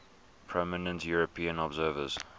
prominent european observers